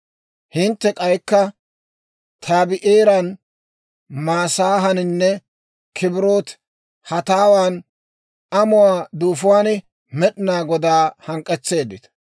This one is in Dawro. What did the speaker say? «Hintte k'aykka Tabi'eeran, Masaahaaninne K'ibiroote-Hataawan (amuwaa duufuwaan) Med'inaa Godaa hank'k'etseeddita.